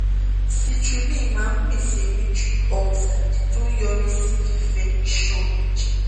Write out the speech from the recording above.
citrulline máa ń pèsè nitric oxide tó ń yọrí sí fífẹ̀ ìṣàn ẹ̀jẹ̀